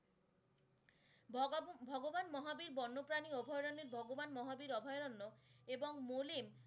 ভগবান বন্যপ্রানী অভয়ারণ্যে ভগবান মহাবীর অভয়ারণ্য এবং মলিন।